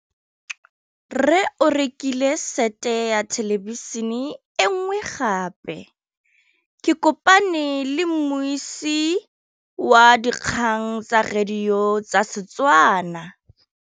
Rre o rekile sete ya thêlêbišênê e nngwe gape. Ke kopane mmuisi w dikgang tsa radio tsa Setswana.